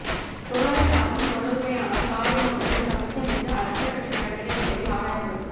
டொலரின் தாக்கம் தொடருமேயானால் பாராளுமன்றத்தில் கமிட்டி அமைத்து அடுத்த கட்ட நடவடிக்கை தொடர்பில் ஆராயப்படும்